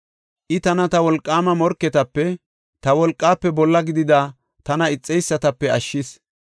I tana ta wolqaama morketape, ta wolqaafe bolla gidida tana ixeysatape ashshis.